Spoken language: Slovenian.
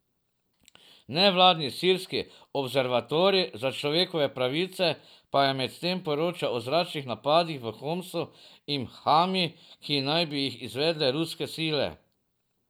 Nevladni Sirski observatorij za človekove pravice pa je medtem poročal o zračnih napadih v Homsu in Hami, ki naj bi jih izvedle ruske sile.